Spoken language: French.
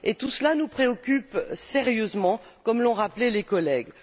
Tout cela nous préoccupe sérieusement, comme l'ont rappelé les collègues.